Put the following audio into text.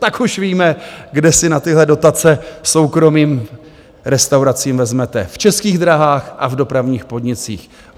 Tak už víme, kde si na tyhle dotace soukromým restauracím vezmete - v Českých drahách a v dopravních podnicích.